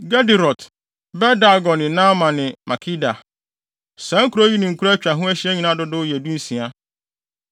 Gederot, Bet-Dagon ne Naama ne Makeda. Saa nkurow yi ne nkuraa a atwa ho ahyia nyinaa dodow yɛ dunsia.